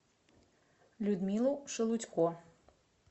людмилу шелудько